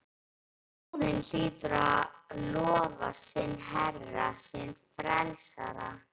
Þjóðin hlýtur að lofa sinn herra, sinn frelsara!